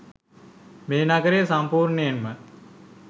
මේ නගරය සම්පූර්ණයෙන්ම